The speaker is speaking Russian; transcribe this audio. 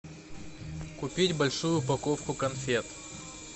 купить большую упаковку конфет